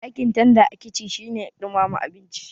Aikin tanda a kici shine ɗumama abinci